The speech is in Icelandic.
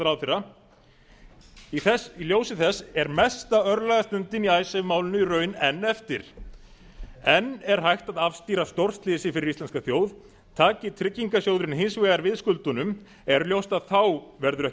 ráðherra í ljósi þessa er mesta örlagastundin í icesave málinu í raun enn eftir enn er hægt að afstýra stórslysi fyrir íslenska þjóð taki tryggingarsjóðurinn hins vegar við skuldunum er ljóst að þá verður ekki